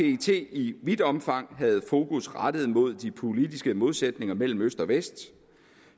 i vidt omfang havde fokus rettet mod de politiske modsætninger mellem øst og vest